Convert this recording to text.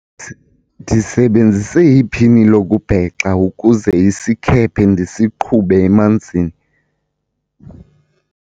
ndisebenzise iphini lokubhexa ukuze isikhephe ndisiqhube emanzini